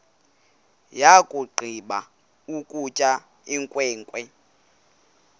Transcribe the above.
yakugqiba ukutya inkwenkwe